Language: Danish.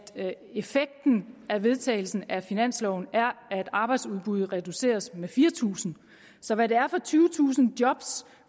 effekten af vedtagelsen af finansloven er at arbejdsudbuddet reduceres med fire tusind så hvad det er for tyvetusind job